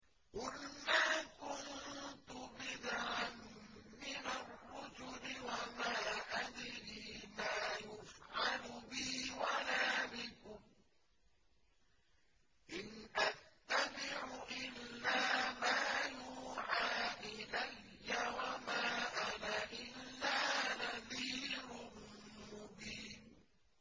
قُلْ مَا كُنتُ بِدْعًا مِّنَ الرُّسُلِ وَمَا أَدْرِي مَا يُفْعَلُ بِي وَلَا بِكُمْ ۖ إِنْ أَتَّبِعُ إِلَّا مَا يُوحَىٰ إِلَيَّ وَمَا أَنَا إِلَّا نَذِيرٌ مُّبِينٌ